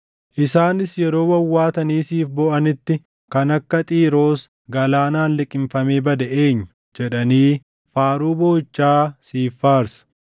Isaanis yeroo wawwaatanii siif booʼanitti, “Kan akka Xiiroos galaanaan liqimfamee bade eenyu?” jedhanii faaruu booʼichaa siif faarsu.